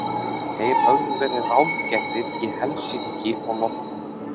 Þeir höfðu verið ráðgerðir í Helsinki og London.